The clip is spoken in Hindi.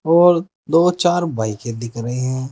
और दो चार बाईकें दिख रही हैं।